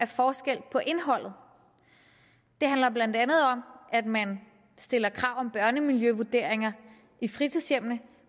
forskel på indholdet det handler blandt andet om at man stiller krav om børnemiljøvurderinger i fritidshjemmene